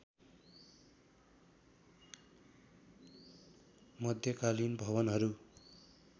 मध्यकालीन भवनहरू